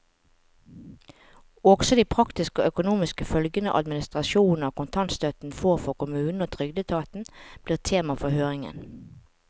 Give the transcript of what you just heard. Også de praktiske og økonomiske følgene administrasjonen av kontantstøtten får for kommunene og trygdeetaten, blir tema for høringen.